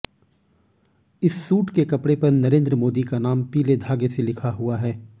इस सूट के कपड़े पर नरेंद्र मोदी का नाम पीले धागे से लिखा हुआ है